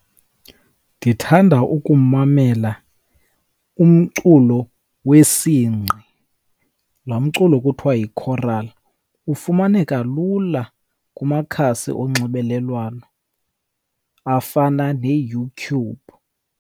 Ndithanda ukumamela umculo wesingqi, lo mculo kuthiwa yi-choral. Ufumaneka lula kumakhasi onxibelelwano afana neYouTube.